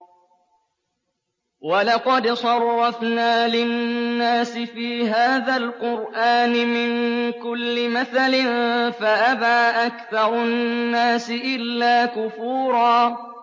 وَلَقَدْ صَرَّفْنَا لِلنَّاسِ فِي هَٰذَا الْقُرْآنِ مِن كُلِّ مَثَلٍ فَأَبَىٰ أَكْثَرُ النَّاسِ إِلَّا كُفُورًا